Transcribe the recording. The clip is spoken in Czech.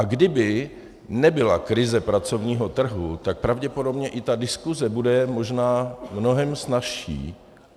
A kdyby nebyla krize pracovního trhu, tak pravděpodobně i ta diskuse bude možná mnohem snazší.